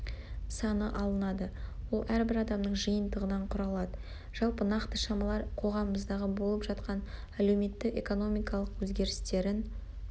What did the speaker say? саны алынады ол әрбір адамның жиынтығынан құралады жалпы нақты шамалар қоғамымыздағы болып жатқан әлеуметтік-экономикалық өзгерістерін